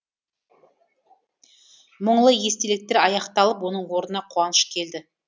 мұңлы естеліктер аяқталып оның орнына қуаныш келді